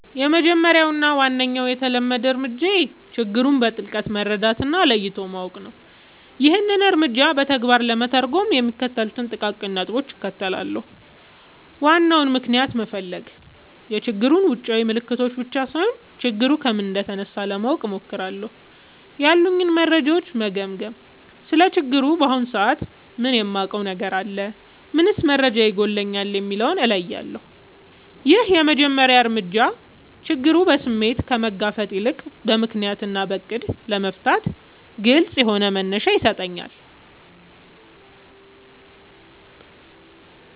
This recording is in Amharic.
—የመጀመሪያው እና ዋነኛው የተለመደ እርምጃዬ ችግሩን በጥልቀት መረዳት እና ለይቶ ማወቅ ነው። ይህንን እርምጃ በተግባር ለመተርጎም የሚከተሉትን ጥቃቅን ነጥቦች እከተላለሁ፦ ዋናውን ምክንያት መፈለግ፣ የችግሩን ውጫዊ ምልክቶች ብቻ ሳይሆን፣ ችግሩ ከምን እንደተነሳ ለማወቅ እሞክራለሁ። ያሉኝን መረጃዎች መገምገም: ስለ ችግሩ በአሁኑ ሰዓት ምን የማውቀው ነገር አለ? ምንስ መረጃ ይጎድለኛል? የሚለውን እለያለሁ። ይህ የመጀመሪያ እርምጃ ችግሩን በስሜት ከመጋፈጥ ይልቅ በምክንያት እና በዕቅድ ለመፍታት ግልጽ የሆነ መነሻ ይሰጠኛል።